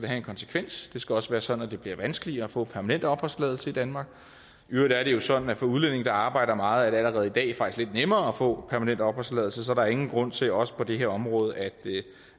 have en konsekvens og det skal også være sådan at det bliver vanskeligere at få permanent opholdstilladelse i danmark i øvrigt er det jo sådan at for udlændinge der arbejder meget er det allerede i dag faktisk lidt nemmere at få permanent opholdstilladelse så der er ingen grund til også på det her område